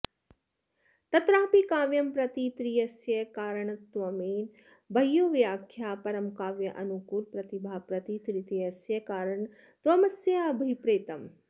तत्रापि काव्यं प्रति त्रितयस्य कारणत्वेन बह्वयोः व्याख्याः परं काव्यानुकूल प्रतिभा प्रति त्रितयस्य कारणत्वमस्याभिप्रेतम्